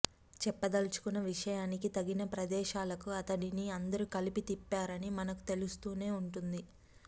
చెప్పదల్చుకున్న విషయానికి తగిన ప్రదేశాలకు అతడిని అందరూ కలిసి తిప్పారని మనకు తెలుస్తూనే ఉంటుంది